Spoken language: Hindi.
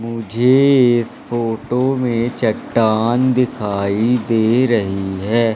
मुझे इस फोटो में चट्टान दिखाई दे रही है।